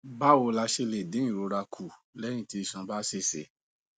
báwo la ṣe lè dín ìrora kù léyìn tí iṣan bá ṣèṣe